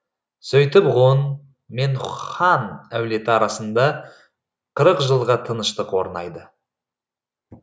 сөйтіп ғұн мен хан әулеті арасында қырық жылғы тыныштық орнайды